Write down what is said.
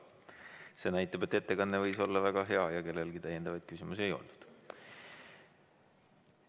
See võib näidata, et ettekanne oli väga hea ja kellelgi küsimusi ei tekkinud.